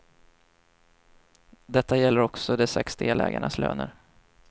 Detta gäller också de sex delägarnas löner.